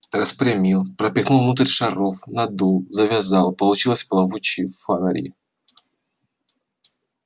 распрямил пропихнул внутрь шаров надул завязал получились плавучие фонари